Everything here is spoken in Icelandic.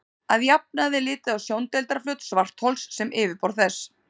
Að jafnaði er litið á sjóndeildarflöt svarthols sem yfirborð þess.